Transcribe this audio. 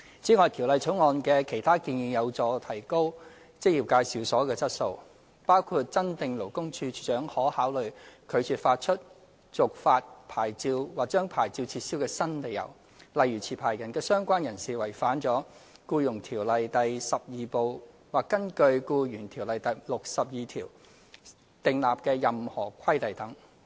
此外，《條例草案》的其他建議有助提高職業介紹所的質素，包括增訂勞工處處長可考慮拒絕發出/續發牌照或將牌照撤銷的新理由，例如持牌人或相關人士違反了《僱傭條例》第 XII 部或根據《僱傭條例》第62條訂立的任何規例等。